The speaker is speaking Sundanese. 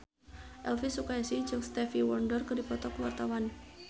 Elvi Sukaesih jeung Stevie Wonder keur dipoto ku wartawan